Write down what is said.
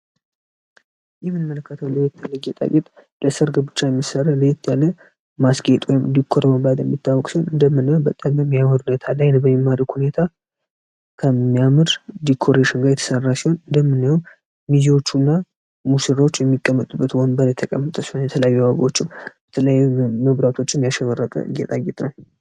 የምንመለከተው ለየት የለ ጌጣጌጥ ለሰርግ ብቻ የሚሰሩ ለየት ያለ ማስጌጥ ዲኮር ሲሆን አደምናይው በጣም ሚያምር ሁኔታ ላይ ነው በሚያምር ሁኔታ በጣም ሚያምር ድኮሬሺን ሲሆን አደምናየው ሚዜዎቹ እና ሙሽሮች የሚቀመጡበት ወንበር የተቀመጠ ሲሆን የተለያዩ አበቦችም የተለያዩ መብራቶችም ያሸበረቀ ጌጣጌጥ ነው ።